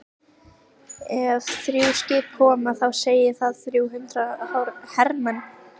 Ef þrjú skip koma þá segir það þrjú hundruð hermenn.